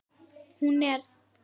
Hún er